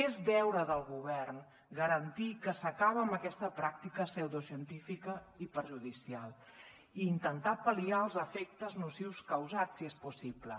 és deure del govern garantir que s’acaba amb aquesta pràctica pseudocientífica i perjudicial i intentar pal·liar els efectes nocius causats si és possible